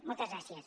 moltes gràcies